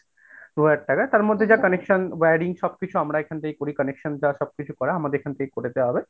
দু'হাজার টাকা, তার মধ্যে যা connections wiring সবকিছু আমরা এখন থেকে করি connection বা সবকিছু করা আমাদের এখন থেকেই করে দেয়া হবে।